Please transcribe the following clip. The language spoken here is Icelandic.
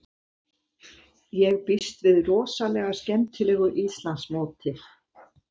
Ég býst við rosalega skemmtilegu Íslandsmóti.